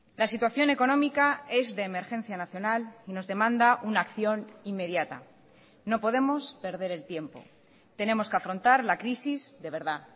la situación económica es de emergencia nacional y nos demanda una acción inmediata no podemos perder el tiempo tenemos que afrontar la crisis de verdad